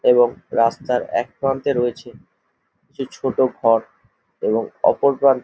এবং রাস্তার একপ্রান্তে রয়েছে সেই ছোট ঘর এবং অপরপ্রা--